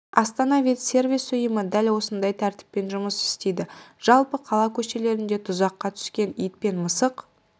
астана-ветсервис ұйымы дәл осындай тәртіппен жұмыс істейді жалпы қала көшелерінде тұзаққа түскен ит пен мысық